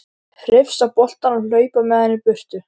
Hrifsa boltann og hlaupa með hann í burtu.